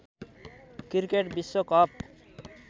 cricket विश्व cup